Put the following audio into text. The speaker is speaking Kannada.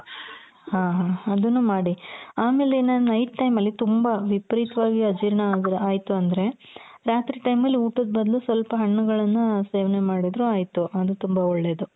ಹ ಹ ಅದುನ್ನು ಮಾಡಿ ಆಮೇಲೆ ಇನ್ನ night time ಅಲ್ಲಿ ತುಂಬಾ ವಿಪರೀತವಾಗಿ ಅಜೀರ್ಣ ಆದ್ರೆ ಆಯಿತು ಅಂದ್ರೆ ರಾತ್ರಿ time ಅಲ್ಲ್ ಊಟದ್ ಬದ್ಲು ಸ್ವಲ್ಪ ಹಣ್ಣುಗಳನ್ನ ಸೇವನೆ ಮಾಡಿದ್ರೂ ಆಯಿತು ಅದು ತುಂಬಾ ಒಳ್ಳೇದು.